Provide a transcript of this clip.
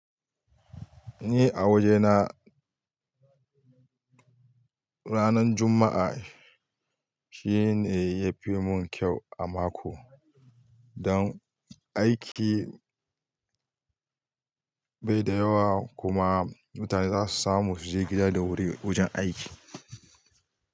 Ni a wajena ranan juma'a shine yafi mun kyau a mako don aiki bai da yawa kuma mutane zasu samu suje gida da wuri wajen aiki.